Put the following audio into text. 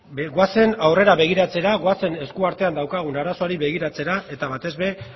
goazen aurrera begiratzera goazen eskuartean daukagun arazoari begiratzera eta batez ere